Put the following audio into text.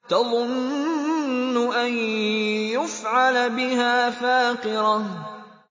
تَظُنُّ أَن يُفْعَلَ بِهَا فَاقِرَةٌ